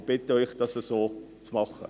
Wir bitten Sie, dies ebenso zu tun.